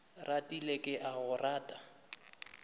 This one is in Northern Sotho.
ratile ke a go rata